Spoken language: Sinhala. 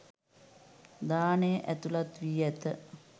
දානය ඇතුළත් වී ඇත.